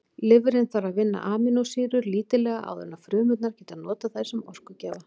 Lifrin þarf að vinna amínósýrur lítillega áður en frumurnar geta notað þær sem orkugjafa.